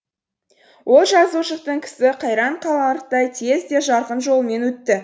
ол жазушылықтың кісі қайран қаларлықтай тез де жарқын жолымен өтті